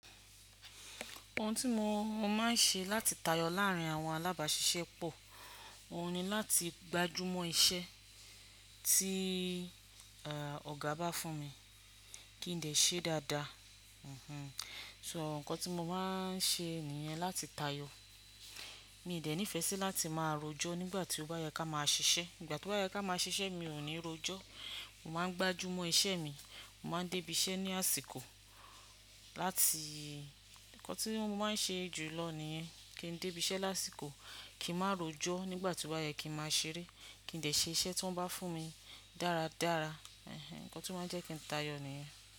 Ohun tí mo máa ń ṣe láti tayọ láàrin àwọn alábàáṣiṣẹ́ pọ̀. Ohun ni láti gbájúmọ́ iṣẹ́ tí ọ̀gá bá fún mi kí n dẹ̀ ṣe dáadáa. So ǹkan tí mo máa ń ṣe nìyẹn láti tayọ. Mi ò dẹ̀ ní ìfẹ́ sí láti máa rojọ́ nígbà tí ó bá yẹ ká máa ṣiṣẹ́. Nígbà tí ó bá yẹ ká máa ṣiṣẹ́ mi ò ní rojọ́. Mo máa gbájúmọ́ iṣẹ́ mi, mo máa dé ibi iṣẹ́ ní àsìkò láti ǹkan tí mo máa ń ṣe jù lọ nìyẹn. Kí n dé ibi iṣẹ́ lásìkò, kí n má rojọ́ nígbà tí ó bá yẹ kí n má ṣeré, kí n lè ṣe iṣẹ́ tí wọ́n bá fún mi dáradára. Ǹkan tí ó máa ń jẹ́ kí n tayọ̀ nìyẹn.